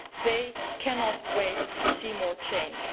They cannot wait to see more change.